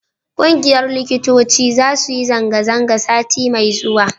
ƙungiyar likitoci za su yi zanga-zanga sati mai zuwa